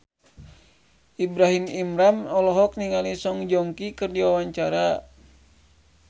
Ibrahim Imran olohok ningali Song Joong Ki keur diwawancara